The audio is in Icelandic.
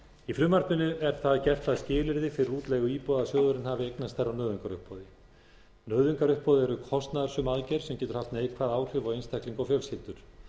í frumvarpinu er það gert að skilyrði fyrir útleigu íbúða að sjóðurinn hafi eignast þær á nauðungaruppboði nauðungaruppboð er kostnaðarsöm aðgerð sem getur haft neikvæð áhrif á einstaklinga og fjölskyldur